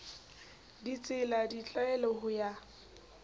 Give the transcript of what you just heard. ditsela le ditlwaelo ho ya